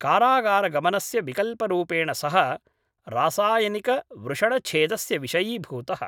कारागारगमनस्य विकल्परूपेण सः रासायनिकवृषणछेदस्य विषयीभूतः।